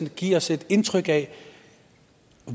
give os et indtryk af